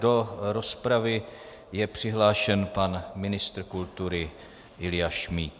Do rozpravy je přihlášen pan ministr kultury Ilja Šmíd.